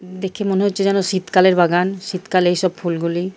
দেখে মনে হচ্ছে যেন শীতকালের বাগান। শীতকালে এইসব ফুলগুলি ।